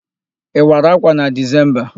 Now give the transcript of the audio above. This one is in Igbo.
Ị wara ákwà na Dezemba?